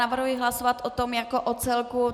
Navrhuji hlasovat o tom jako o celku.